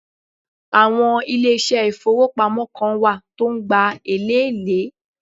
Àwọn ilésé ìfowópamọ́ Kan wà tó n gba elèlé